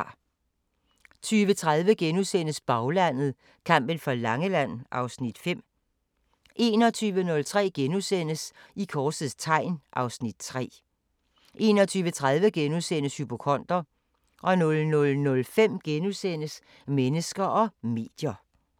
20:30: Baglandet: Kampen for Langeland (Afs. 5)* 21:03: I korsets tegn (Afs. 3)* 21:30: Hypokonder * 00:05: Mennesker og medier *